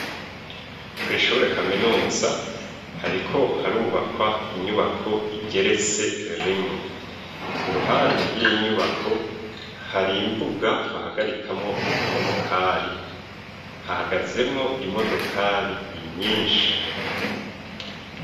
Ku ishure kaminuza hariko harubakwa inyubako igeretse rimwe, iruhande y'inyubako hari imbuga bahagarikamwo ama modokari hahagazemwo imodokari nyinshi.